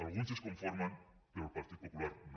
alguns s’hi conformen però el partit popular no